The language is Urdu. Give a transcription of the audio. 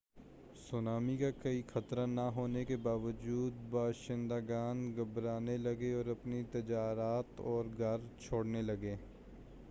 سونامی کا کوئی خطرہ نہ ہونے کے باوجود باشندگان گھبرانے لگے اور اپنی تجارت اور گھر چھوڑنے لگے